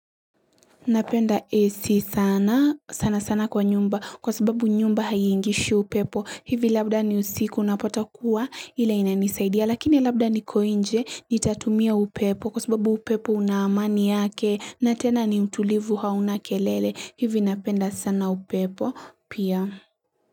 Napenda AC sana, sana sana kwa nyumba kwa sababu nyumba haiingishi upepo. Hivi labda ni usiku unapata kuwa ila ina nisaidia. Lakini labda niko inje nitatumia upepo kwa sababu upepo una amani yake na tena ni mtulivu hauna kelele. Hivi napenda sana upepo pia.